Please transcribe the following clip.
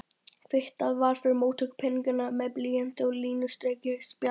Kvittað var fyrir móttöku peninganna með blýanti á línustrikað spjald.